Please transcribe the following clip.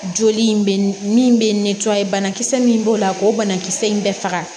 Joli in bɛ min bɛ banakisɛ min b'o la k'o banakisɛ in bɛɛ faga